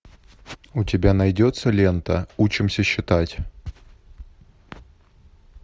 у тебя найдется лента учимся считать